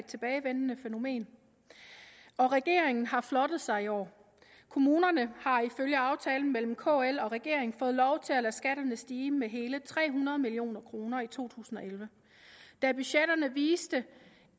tilbagevendende fænomen og regeringen har flottet sig i år kommunerne har ifølge aftalen mellem kl og regeringen fået lov til at lade skatterne stige med hele tre hundrede million kroner i to tusind og elleve da budgetterne viste